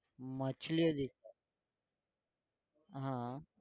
માછલીઓ દેખાય હા